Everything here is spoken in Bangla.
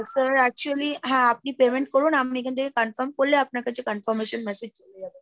sir actually, হ্যাঁ আপনি payment করুন আমি এখান থেকে confirmed করলে আপনার কাছে confirmation massage চলে যাবে।